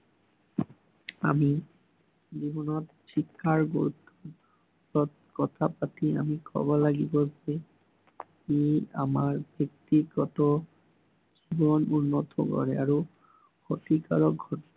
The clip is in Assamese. আমি, জীৱনত শিক্ষাৰ গুৰুত্বৰ কথা পাতি আমি কব লাগিব যে, ই আমাৰ ব্য়ক্তিগত জীৱন উন্নত হয় আৰু ক্ষতিকাৰক